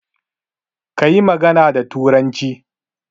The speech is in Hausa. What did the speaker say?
Kayi magana da turanci